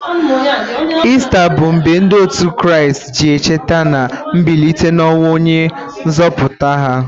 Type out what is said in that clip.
Ista bụ mgbe ndị òtù Kraịst ji echeta na mbilite n'ọnwụ onye nzọpụta ha.